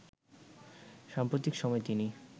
সাম্প্রতিক সময়ে তিনি